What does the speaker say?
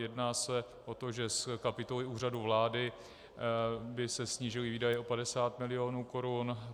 Jedná se o to, že z kapitoly Úřadu vlády by se snížily výdaje o 50 milionů korun.